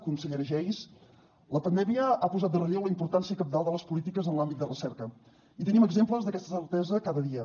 consellera geis la pandèmia ha posat de relleu la importància cabdal de les polítiques en l’àmbit de recerca i tenim exemples d’aquesta certesa cada dia